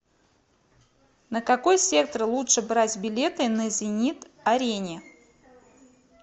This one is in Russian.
на какой сектор лучше брать билеты на зенит арене